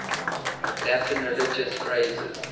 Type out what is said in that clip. latin religious phrases